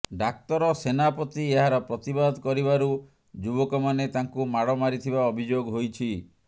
ଡାକ୍ତର ସେନାପତି ଏହାର ପ୍ରତିବାଦ କରିବାରୁ ଯୁବକମାନେ ତାଙ୍କୁ ମାଡ ମାରିଥିବା ଅଭିଯୋଗ ହୋଇଛି